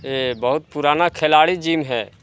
ये बहुत पुराना खिलाड़ी जिम हैं।